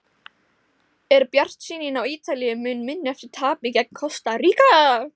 Er bjartsýnin á Ítalíu mun minni eftir tapið gegn Kosta Ríka?